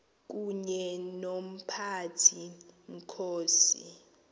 kunye nomphathi mkhosi